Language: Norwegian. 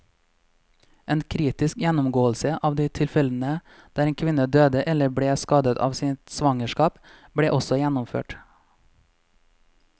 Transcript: En kritisk gjennomgåelse av de tilfellene der en kvinne døde eller ble skadet av sitt svangerskap, ble også gjennomført.